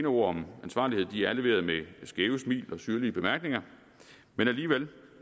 ord om ansvarlighed er leveret med skæve smil og syrlige bemærkninger men alligevel